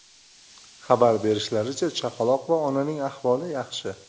Xabar berishlaricha, chaqaloq va onaning ahvoli yaxshi.